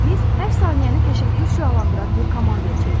Biz hər saniyəni təşəkkür şüalandıran bir komandaya çevrildik.